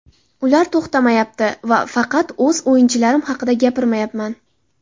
Ular to‘xtamayapti va faqat o‘z o‘yinchilarim haqida gapirmayapman.